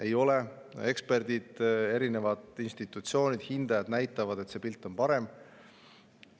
Ei ole, ekspertide, erinevate institutsioonide ja hindajate on see pilt parem.